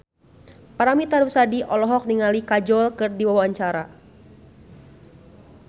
Paramitha Rusady olohok ningali Kajol keur diwawancara